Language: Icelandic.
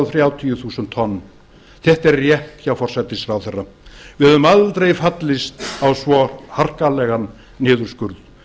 þrjátíu þúsund tonn þetta er rétt hjá forsætisráðherra við hefðum aldrei fallist á svo harkalegan niðurskurð